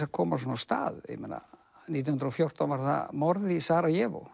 að koma svona af stað ég meina nítján hundruð og fjórtán var það morð í